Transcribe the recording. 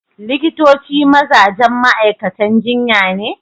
Likitoci mazajen ma'aikatan jinya ne